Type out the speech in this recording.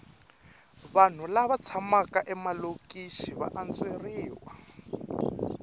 vanhu lava tshamaka emalokixi va antsweriwa